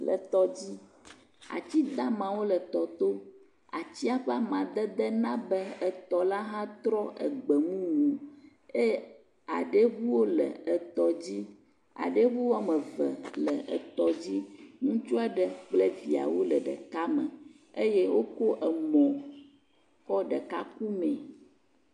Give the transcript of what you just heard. Le etɔdzi. Ati da maawo le etɔa to. Atia ƒe amadede na be etɔ la hã trɔ egbe mumu eye aɖɛ ŋuwo le tɔ dzi. Aɖɛŋu woame eve le etɔ dzi. Ŋutaua ɖe kple viawo le ɖeka me eye wokɔ em kɔ ɖeka ku me